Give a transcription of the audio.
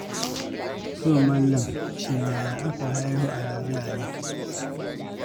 To, mallam wai shin yaya aka haihu a ragaye ne?